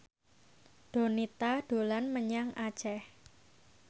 Donita dolan menyang Aceh